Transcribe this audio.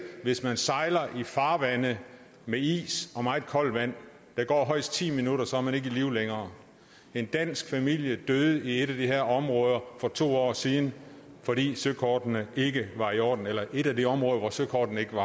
hvis man sejler i farvande med is og meget koldt vand der går højst ti minutter så er man ikke i live længere en dansk familie døde i et af de her områder for to år siden fordi søkortene ikke var i orden eller det var et af de områder hvor søkortene ikke